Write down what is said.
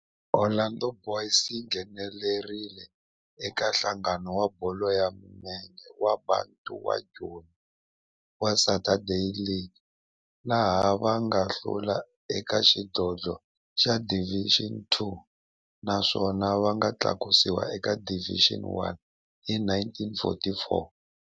Orlando Boys yi nghenelerile eka Nhlangano wa Bolo ya Milenge wa Bantu wa Joni wa Saturday League, laha va nga hlula eka xidlodlo xa Division Two naswona va nga tlakusiwa eka Division One hi 1944.